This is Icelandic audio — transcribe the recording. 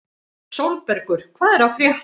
Sólbergur, hvað er að frétta?